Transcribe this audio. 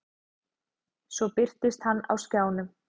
Svo birtist hann á skjánum.